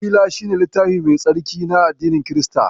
Injila shi ne littafi mai tsarki na addinin Kirista.